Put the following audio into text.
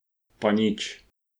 Pa nič.